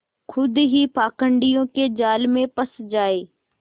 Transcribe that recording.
खुद ही पाखंडियों के जाल में फँस जाए